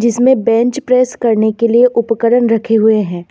जिसमें bench press करने के लिए उपकरण रखे हुए हैं।